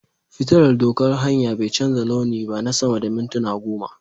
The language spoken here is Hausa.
fitillar doƙan hanya bai canza launi ba na sama da mintuna goma.